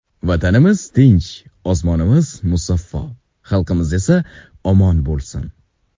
Vatanimiz tinch, osmonimiz musaffo, xalqimiz esa omon bo‘lsin.